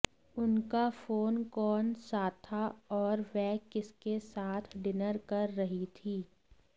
उनका फोन कौन साथा और वह किसके साथ डिनर कर रही थी